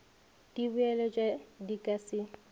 di boeletšwa di ka se